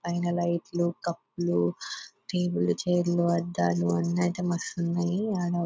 పైన లైట్లు కప్పులు టేబుల్లు చైర్లు అద్దాలు అన్ని ఐటమ్స్ మస్తు ఉన్నాయి. ఆడ --